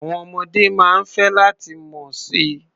Àwọn ọmọdé máa ń fẹ́ láti mọ̀ si.